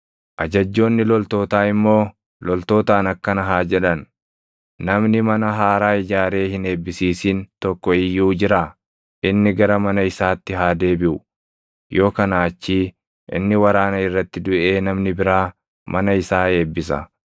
Ajajjoonni loltootaa immoo loltootaan akkana haa jedhan: “Namni mana haaraa ijaaree hin eebbisiisin tokko iyyuu jiraa? Inni gara mana isaatti haa deebiʼu; yoo kanaa achii inni waraana irratti duʼee namni biraa mana isaa eebbisa.